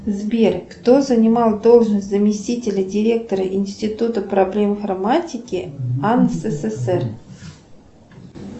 сбер кто занимал должность заместителя директора института проблем информатики ан ссср